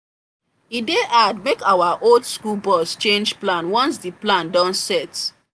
e dey hard make our old school boss change plan once the plan don set